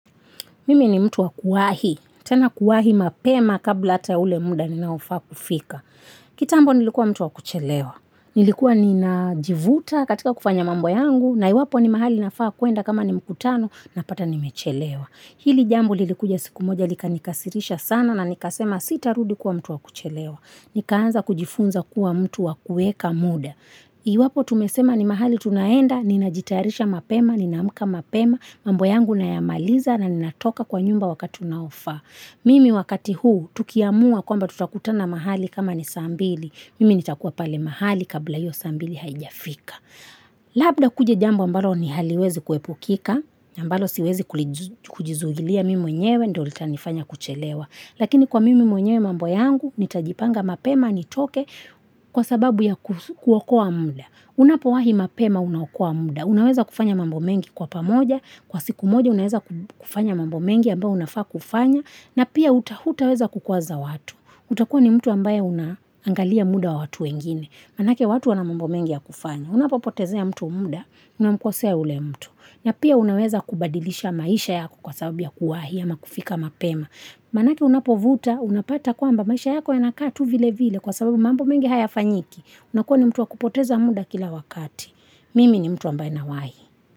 Mimi ni mtu wakuwahi, tena kuwahi mapema kabla ata ule muda ninaofa kufika. Kitambo nilikuwa mtu wakuchelewa, nilikuwa ninajivuta katika kufanya mambo yangu, na iwapo ni mahali nafaa kuenda kama ni mkutano na pata nimechelewa. Hili jambo lilikuja siku moja lika nikasirisha sana na nikasema sita rudikuwa mtu wakuchelewa. Nikaanza kujifunza kuwa mtu wakueka muda. I wapo tumesema ni mahali tunaenda, ninajitarisha mapema, ninaamka mapema, mambo yangu nayamaliza na ninatoka kwa nyumba wakati unaofa. Mimi wakati huu tukiamua kwamba tutakutana mahali kama ni saa mbili, mimi nitakuwa pale mahali kabla ya iyo saa mbili haijafika. Labda kuje jambo ambalo ni haliwezi kuepukika, ambalo siwezi kujizuilia mim mwenyewe ndo litani fanya kuchelewa. Lakini kwa mimi mwenyewe mambo yangu, nitajipanga mapema, nitoke, kwa sababu ya kuokoa muda. Unapo wahi mapema unaokoa muda. Unaweza kufanya mambo mengi kwa pamoja, kwa siku moja unaweza kufanya mambo mengi ambao unafaa kufanya, na pia uta utaweza kukuwaza watu. Utakuwa ni mtu ambaye unangalia muda wa watu wengine. Maanake watu wana mambo mengi yakufanywa Unapopetezea mtu mda unamkesea yule mtu Napia unaweza badilisha maisha yako kwa sababu ya kuwahi au kufika mapema Manake unapovuta, unapata kwamba maisha yako yanakatu vile vile kwa sababu mambo mengi haya fanyiki. Unakuwa ni mtu wa kupoteza muda kila wakati. Mimi ni mtu ambae nawahi.